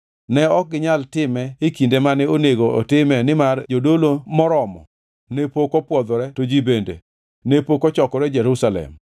Ne ok ginyal time e kinde mane onego otime nimar jodolo moromo ne pok opwodhore to ji bende ne pok ochokore Jerusalem.